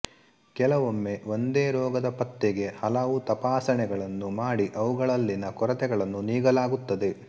ಕೆಲವೊಮ್ಮೆ ಒಂದೇ ರೋಗದ ಪತ್ತೆಗೆ ಹಲವು ತಪಾಸಣೆಗಳನ್ನು ಮಾಡಿ ಅವುಗಳಲ್ಲಿನ ಕೊರತೆಗಳನ್ನು ನೀಗಲಾಗುತ್ತದೆ